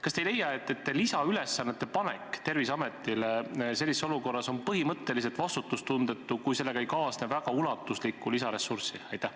Kas te ei leia, et Terviseametile sellises olukorras lisaülesannete panemine on põhimõtteliselt vastutustundetu, kui sellega ei kaasne piisavalt lisaressurssi?